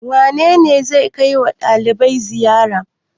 Wane ne zai kai wa ɗalibai ziyara?